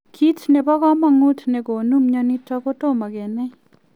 Kiit nepo kamanuut negonuu mionitok kotomo kenai.